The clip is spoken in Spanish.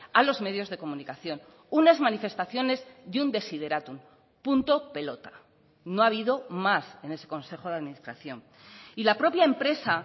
a los medios de comunicación unas manifestaciones y un desiderátum punto pelota no ha habido más en ese consejo de administración y la propia empresa